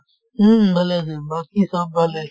উম উম ভালে আছে বাকি চব ভালেই